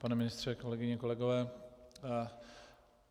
Pane ministře, kolegyně, kolegové.